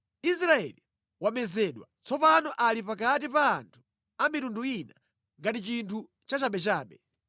Israeli wamezedwa, tsopano ali pakati pa anthu a mitundu ina ngati chinthu cha chabechabe.